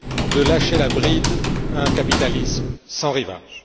de lâcher la bride à un capitalisme sans rivages.